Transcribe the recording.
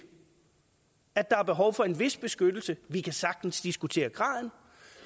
at der er behov for en vis beskyttelse vi kan sagtens diskutere graden